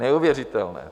Neuvěřitelné!